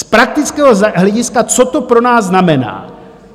Z praktického hlediska - co to pro nás znamená.